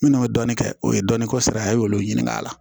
Minnu bɛ dɔɔnin kɛ o ye dɔɔnin ko sara ye olu ɲininka a la